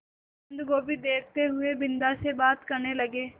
बन्दगोभी देखते हुए बिन्दा से बात करने लगे